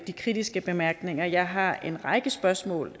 de kritiske bemærkninger jeg har en række spørgsmål